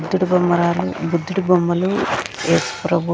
బుద్దిడి బొమ్మరాలు బుద్ధిడి బొమ్మలు యేసు ప్రభువ్--